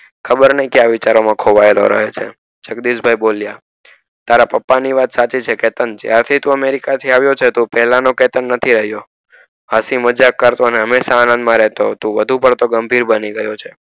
ખબર નય ક્યાં વિચાર માં ખોવાયેલો રહે છે જગદીશ ભાઈ બોલિયાં તારા પપ્પા ની વાત સાચી છે ચેતન જ્યારે થી તું america થી આવીયો છે તું પેલા નો કેતન નથી રહીયો હસી મજાક કરતો અને હંમેશ આનંદ માં રહેતો તું વધુ પડતો ગંભીર બની ગયો છે.